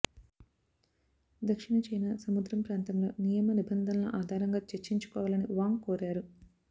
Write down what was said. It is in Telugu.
దక్షిణ చైనా సముద్రం ప్రాంతంలో నియమ నిబంధనల ఆధారంగా చర్చించుకో వాలని వాంగ్ కోరారు